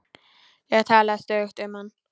Ég talaði stöðugt um hann.